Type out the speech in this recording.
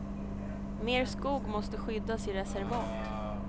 Mer skog måste skyddas i reservat.